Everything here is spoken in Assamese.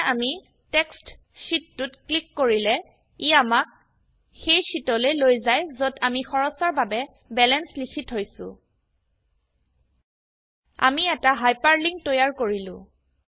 এতিয়া আমি টেক্সট শীত 2ত ক্লিক কৰিলে ই আমাক সেই শীটলৈ লৈ যায় যত আমি খৰচৰ বাবে বেলেন্চ লিখি থৈছো আমি এটা হাইপাৰলিংক তৈয়াৰ কৰিলো